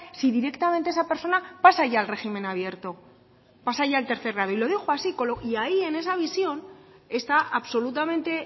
si directamente esa persona pasa ya al régimen abierto pasa ya al tercer grado y lo dijo así y ahí en esa visión está absolutamente